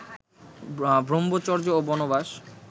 ব্রম্ভচর্য ও বনবাস